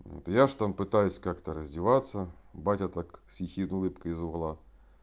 я же там пытаюсь как-то развеваться батя так с ехидной улыбкой из угла